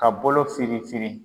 Ka bolo firinfirin